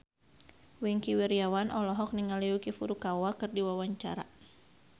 Wingky Wiryawan olohok ningali Yuki Furukawa keur diwawancara